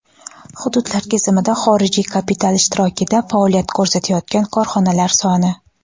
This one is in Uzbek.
Hududlar kesimida xorijiy kapital ishtirokida faoliyat ko‘rsatayotgan korxonalar soni:.